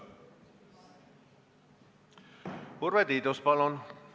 Urve Tiidus, palun!